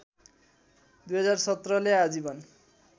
२०१७ ले आजीवन